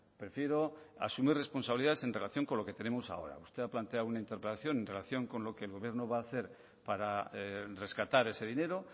prefiero asumir responsabilidad en relación con lo que tenemos ahora usted ha planteado una interpelación en relación con lo que el gobierno va a hacer para rescatar ese dinero